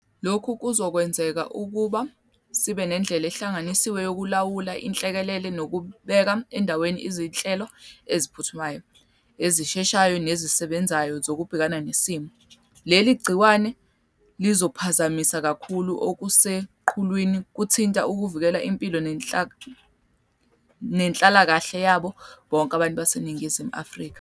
Lokhu kuzokwenza ukuba sibe nendlela ehlanganisiwe yokulawula inhlekelele nokubeka endaweni izinhlelo eziphuthumayo, ezisheshayo nezisebenzayo zokubhekana nesimo. Leli gciwane lizophazamisa kakhulu, okuseqhulwini kuthina ukuvikela impilo nenhlalakahle yabo bonke abantu baseNingizimu Afrika.